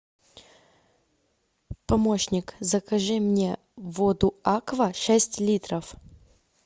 помощник закажи мне воду аква шесть литров